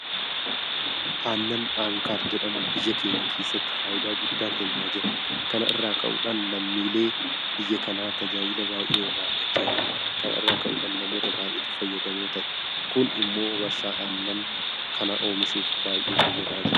Aannan Aankar jedhamu biyya keenya keessatti faayidaa guddaa kennaa jira. Kana irraa ka'uudhaan lammiileen biyya kanaa tajaajila baay'ee irraa argachaa jiru. Kana irraa ka'uudhaan namoota baay'eetu fayyadamoo ta'e. Kun immoo warshaa aannan kana oomishuuf baay'ee fayyadaa jira.